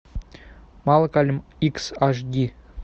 малкольм икс аш ди